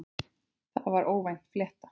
Það var óvænt flétta.